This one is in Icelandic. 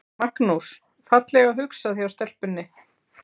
Magnús: Fallega hugsað hjá stelpunni?